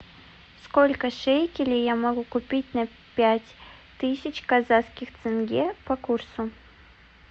сколько шекелей я могу купить на пять тысяч казахских тенге по курсу